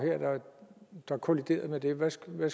der kolliderede med det hvad skulle